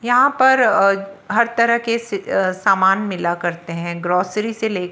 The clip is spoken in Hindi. यहां पर हर तरह के से सामान मिला करते हैं ग्रोसरी से ले--